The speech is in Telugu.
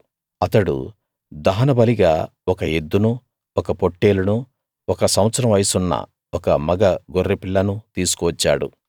అతడు దహనబలిగా ఒక ఎద్దునూ ఒక పొట్టేలునూ ఒక సంవత్సరం వయసున్న ఒక మగ గొర్రెపిల్లనూ తీసుకువచ్చాడు